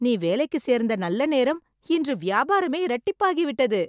நீ வேலைக்கு சேர்ந்த நல்லநேரம், இன்று வியாபாரமே இரட்டிப்பாகிவிட்டது..